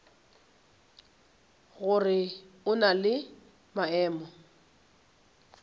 gore o na le maemo